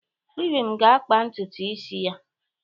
Ibim ga-akpa ntutu isi ya.